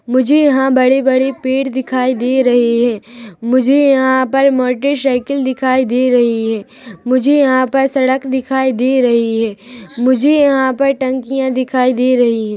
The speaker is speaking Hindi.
मुझे यहाँ बड़े- बड़े पेड़ देखाई दे रहे है मुझे यहाँ पर मोटर साइकिल दिखाई दे रही है मुझे यहाँ पर सड़क दिखाई दे रही है मुझे यहाँ पर टंकियाँ दिखाई दे रही है।